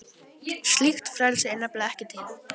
Slíkt frelsi er nefnilega ekki til.